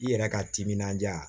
I yɛrɛ ka timinandiya